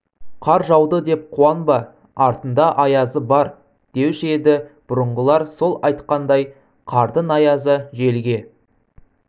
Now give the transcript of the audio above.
қар жауды деп қуанба артында аязы бар деуші еді бұрынғылар сол айтқандай қардың аязы желге